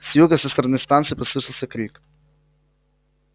с юга со стороны станции послышался крик